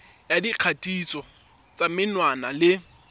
ya dikgatiso tsa menwana le